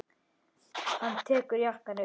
Hann tekur jakkann upp.